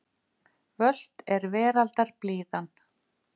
Völt er veraldar blíðan.